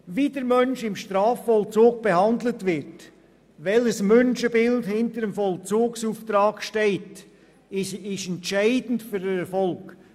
Wie der Mensch im Strafvollzug behandelt wird, welches Menschenbild hinter dem Vollzugsauftrag steht, ist entscheidend für den Erfolg.